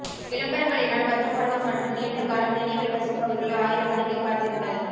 விளம்பரங்களினால் வருத்தப்படுவோர் மற்றும் நீண்ட காலம் நினைவில் வசிப்பவர்கள் ஆயிரக்கணக்கில் காத்திருங்கள்